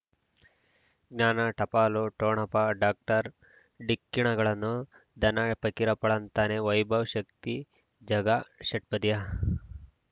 ಜ್ಞಾನ ಟಪಾಲು ಠೊಣಪ ಡಾಕ್ಟರ್ ಢಿಕ್ಕಿ ಣಗಳನು ಧನ ಪಕೀರಪ್ಪ ಳಂತಾನೆ ವೈಭವ್ ಶಕ್ತಿ ಝಗಾ ಷಟ್ಪದಿಯ